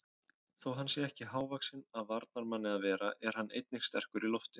Þó hann sé ekki hávaxinn af varnarmanni að vera er hann einnig sterkur í loftinu.